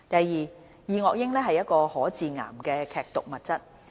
二二噁英是一類可致癌的劇毒物質。